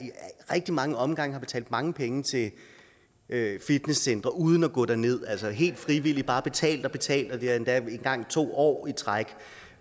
rigtig mange omgange har betalt mange penge til fitnesscentre uden at gå derned altså helt frivilligt bare har betalt og betalt og det var endda engang to år i træk